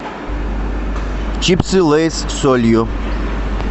чипсы лейс с солью